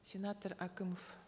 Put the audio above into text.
сенатор әкімов